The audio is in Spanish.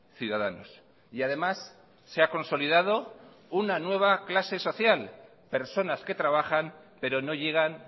ciudadanos y además se ha consolidado una nueva clase social personas que trabajan pero no llegan